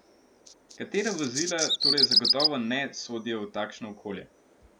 Katera vozila torej zagotovo ne sodijo v takšno okolje?